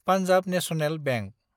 Punjab National bank